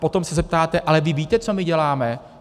Potom se zeptáte: a vy víte, co my děláme?